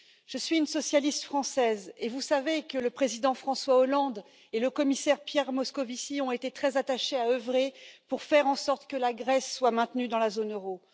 Je suis une socialiste française, et vous savez que le président François Hollande et le commissaire Pierre Moscovici ont été très attachés à œuvrer pour faire en sorte que la Grèce soit maintenue dans la zone euro.